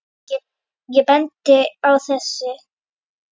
Ég bendi á þessi